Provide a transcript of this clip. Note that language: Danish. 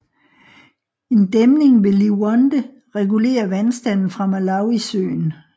En dæmning ved Liwonde regulerer vandstanden fra Malawisøen